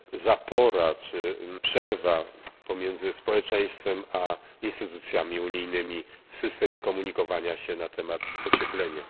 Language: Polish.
zapora czy przerwa pomiędzy społeczeństwem a instytucjami unijnymi w systemie komunikowania się na temat ocieplenia.